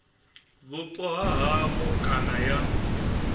vhupo ha havho kana ya